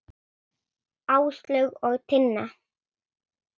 Áslaug og Tinna.